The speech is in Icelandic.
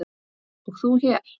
og þú hér?